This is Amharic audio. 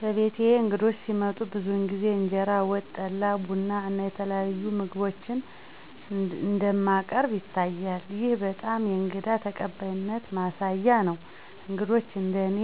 በቤትዬ እንግዶች ሲመጡ ብዙውን ጊዜ እንጀራ፣ ወጥ፣ ጠላ፣ ቡና እና ተለያዩ አብስሎች እንደሚያቀርብ ይታያል። ይህ በጣም የእንግዳ ተቀባይነትን ማሳየት ነው፤ እንግዶች እንደ እኔ